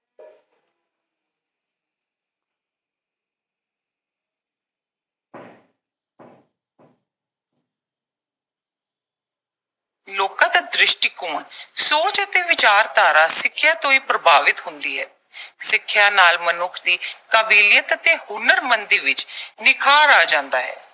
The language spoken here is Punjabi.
ਲੋਕਾਂ ਦਾ ਦ੍ਰਿਸ਼ਟੀਕੋਣ, ਸੋਚ ਅਤੇ ਵਿਚਾਰਧਾਰਾ ਸਿੱਖਿਆ ਤੋਂ ਹੀ ਪ੍ਰਭਾਵਿਤ ਹੁੰਦੀ ਹੈ। ਸਿੱਖਿਆ ਨਾਲ ਮਨੁੱਖ ਦੀ ਕਾਬਲੀਅਤ ਅਤੇ ਹੁਨਰਮੰਦੀ ਵਿੱਚ ਨਿਖਾਰ ਆ ਜਾਂਦਾ ਹੈ।